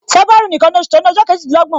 February nìkan ni oṣù to ni ọjọ kejidinlogbon